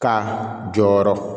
Ka jɔyɔrɔ